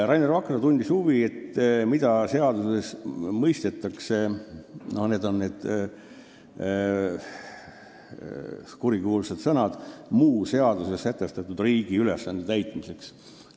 Rainer Vakra tundis huvi, mida mõistetakse seaduses nende kurikuulsate sõnade "muu seaduses sätestatud riigi ülesande täitmiseks" all.